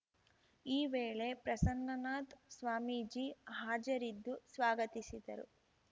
ಈ ವೇಳೆ ಪ್ರಸನ್ನನಾಥ್ ಸ್ವಾಮೀಜಿ ಹಾಜರಿದ್ದು ಸ್ವಾಗತಿಸಿದರು